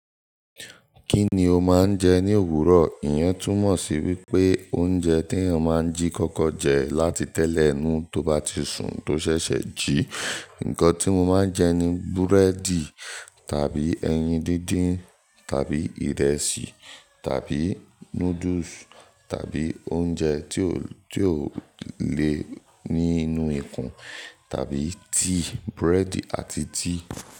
Kí ni o máa ń jẹ ní òwúrọ̀? Iyen túnmọ̀ sí wípé oúnjẹ tí èèyàn máa ń jí kọ́kọ́ jẹ láti tẹ́lẹ̀ inu tó bá ti sùn tó ṣẹ̀ṣẹ̀ jií. Ǹkan tí mo máa ń jẹ ni búrẹ́dì tàbí ẹyin díndín tàbí ìrẹsì tàbí noodles tàbí oúnjẹ tí ó, tí ó le ní inú ikùn tàbí tíì, búrẹ́dì àti tíì.